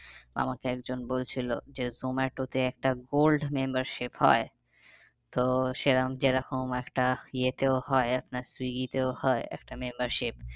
আমাকে একজন বলছিলো যে জোমাটোতে একটা gold membership হয়। তো সেরম যেরকম একটা ইয়েতেও হয় আপনার সুইগীতেও হয় একটা membership